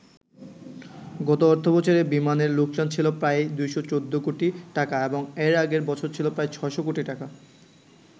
গত অর্থবছরে বিমানের লোকসান ছিল প্রায় ২১৪ কোটি টাকা এবং এর আগের বছর ছিল প্রায় ৬শ কোটি টাকা।